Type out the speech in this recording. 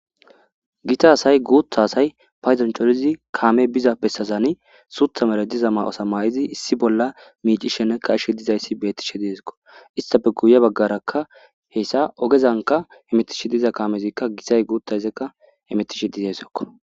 gita asay guutha asay payzancholizi kaame biza bessazani suutha mere diza ma7osa maa7izi issi bolla miici shenne kashshe dizayssi bettishe deezikko istafe guye baggarakka heyssa ogezanka hemetishe diza kaamezikka gisay guuthayseka hemetishe dizaysekko